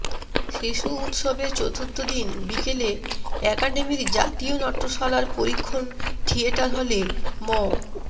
শিশু উৎসবের চতুর্থ দিন বিকেলে একাডেমির জাতীয় নাট্যশালার পরীক্ষণ থিয়েটার হলে ম